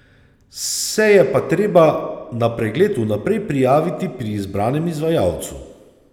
Se je pa treba na pregled vnaprej prijaviti pri izbranemu izvajalcu.